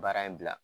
Baara in bila